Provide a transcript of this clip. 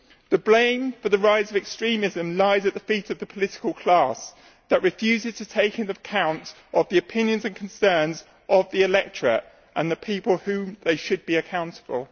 The blame for the rise of extremism lies at the feet of the political class that refuses to take account of the opinions and concerns of the electorate and the people to whom they should be accountable.